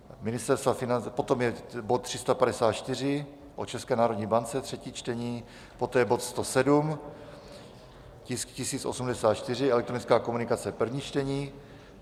Potom je bod 354 o České národní bance, třetí čtení, poté bod 107, tisk 1084, elektronická komunikace, první čtení.